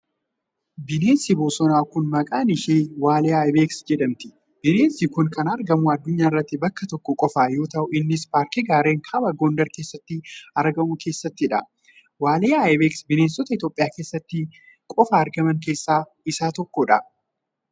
Bineensi bosonaa kun maqaan ishee waaliyaa ayibeeks jedhamti. Bineensi kun kan argamu addunyaa irratti bakka tokko qofa yoo ta'u, innis paarkii gaarreen kaaba Gondar keessatti argamu keessattii dha. Waaliyaa ayibeeks, bineensota Itoophiyaa keessatti qofa argaman keessaa isa tokko.